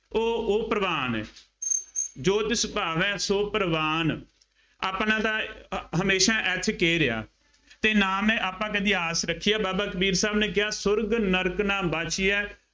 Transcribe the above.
ਉਹ ਉਹ ਪ੍ਰਵਾਨ ਜੋ ਤਿਸ ਭਾਵੈ ਸੋ ਪਰਵਾਣ, ਆਪਣਾ ਤਾਂ ਹਮੇਸ਼ਾ SK ਰਿਹਾ ਅਤੇ ਨਾ ਮੈਂ ਆਪਾਂ ਕਦੀ ਆਸ ਰੱਖੀ ਆ, ਬਾਬਾ ਕਬੀਰ ਸਾਹਿਬ ਨੇ ਕਿਹਾ ਸਵਰਗ ਨਰਕ ਨਾ ਵਾਚੀਐ